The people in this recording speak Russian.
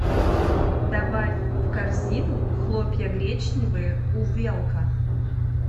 добавь в корзину хлопья гречневые увелка